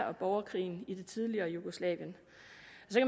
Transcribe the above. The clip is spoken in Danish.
og borgerkrigen i det tidligere jugoslavien